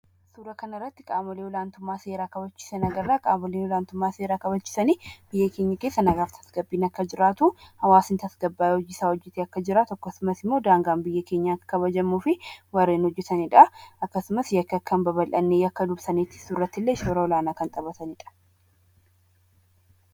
Suuraa kanarratti qaamolee olaantummaa seeraa kabachiisan agarra. Qaamoleen olaantummaa seeraa kabachiisan biyya keenya keessa nagaa fi tasgabbii akka jiraatu hawaasni tasgabbaa'ee hojiisaa hojjatee akka jiraatu akkasumas immoo daangaan biyya keenyaa akka kabajamuu fi warreen hojjatanidha. Akkasumas illee yakki akka hin babal'anne dursanii kan hojjatanidha.